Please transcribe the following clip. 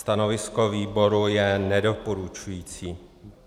Stanovisko výboru je nedoporučující.